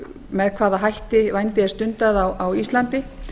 með hvaða hætti vændi er stundað á íslandi